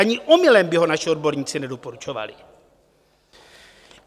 Ani omylem by ho naši odborníci nedoporučovali.